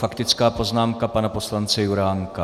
Faktická poznámka pana poslance Juránka.